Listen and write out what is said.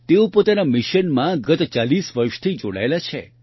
તેઓ પોતાના મિશનમાં ગત ૪૦ વર્ષથી જોડાયેલા છે